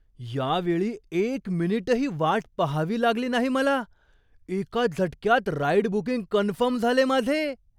यावेळी एक मिनिटही वाट पाहावी लागली नाही मला. एका झटक्यात राईड बुकिंग कन्फर्म झाले माझे!